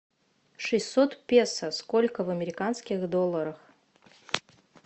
шестьсот песо сколько в американских долларах